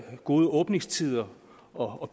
gode åbningstider og